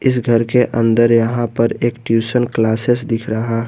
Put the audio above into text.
इस घर के अंदर यहां पर एक ट्यूशन क्लासेस दिख रहा--